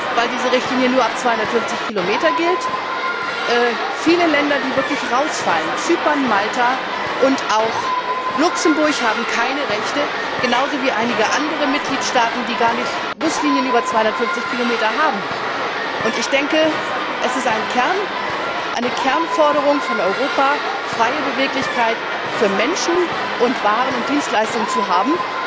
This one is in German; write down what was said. weil diese Richtlinie nur ab 250 Kilometer gilt, viele Länder, die wirklich herausfallen Zypern, Malta und auch Luxemburg haben keine Rechte, genauso wie einige andere Mitgliedstaaten, die gar keine Buslinien über 250 Kilometer haben. Es ist eine Kernforderung Europas, freie Beweglichkeit für Menschen, Waren und Dienstleistungen zu haben.